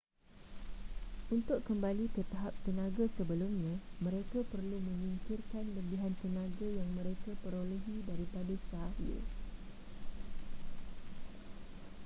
untuk kembali ke tahap tenaga sebelumnya mereka perlu menyingkirkan lebihan tenaga yang mereka perolehi daripada cahaya